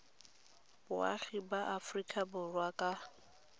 boagi ba aforika borwa ka